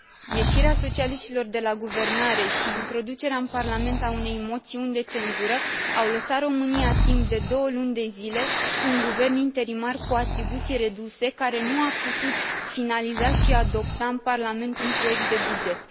Ieșirea socialiștilor de la guvernare și introducerea în Parlament a unei moțiuni de cenzură, au lăsat România timp de două luni de zile cu un guvern interimar cu atribuții reduse, care nu a putut finaliza și adopta în Parlament un proiect de buget.